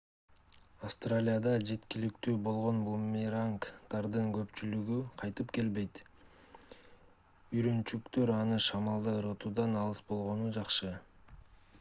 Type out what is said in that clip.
австралияда жеткиликтүү болгон бумерангдардын көпчүлүгү кайтып келбейт үйрөнчүктөр аны шамалда ыргытуудан алыс болгону жакшы